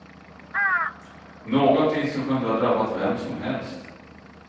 Någonting som kunde ha drabbat vem som helst.